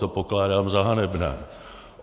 To pokládám za hanebné.